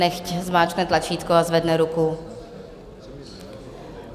Nechť zmáčkne tlačítko a zvedne ruku.